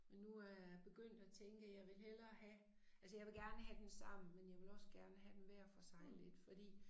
Men nu er jeg begyndt at tænke jeg vil hellere have altså jeg vil gerne have dem sammen men jeg vil også gerne have dem hver for sig lidt fordi